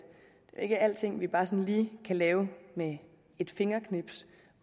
ikke er alting vi bare sådan lige kan lave med et fingerknips